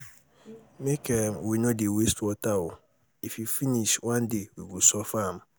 make um we no dey waste water oo if e finish one day we go suffer am